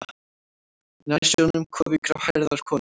Nær sjónum kofi gráhærðrar konu.